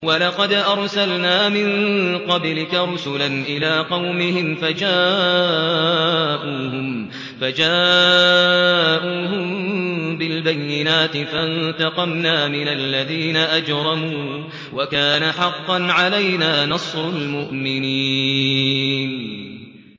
وَلَقَدْ أَرْسَلْنَا مِن قَبْلِكَ رُسُلًا إِلَىٰ قَوْمِهِمْ فَجَاءُوهُم بِالْبَيِّنَاتِ فَانتَقَمْنَا مِنَ الَّذِينَ أَجْرَمُوا ۖ وَكَانَ حَقًّا عَلَيْنَا نَصْرُ الْمُؤْمِنِينَ